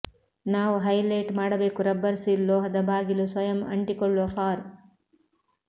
ನಾವು ಹೈಲೈಟ್ ಮಾಡಬೇಕು rubber seal ಲೋಹದ ಬಾಗಿಲು ಸ್ವಯಂ ಅಂಟಿಕೊಳ್ಳುವ ಫಾರ್